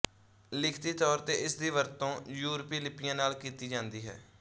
ਲਿਖਤੀ ਤੌਰ ਤੇ ਇਸਦੀ ਵਰਤੋਂ ਯੂਰਪੀ ਲਿਪੀਆਂ ਨਾਲ ਕੀਤੀ ਜਾਂਦੀ ਹੈ